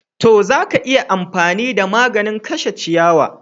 To, za ka iya amfani da maganin kashe ciyawar.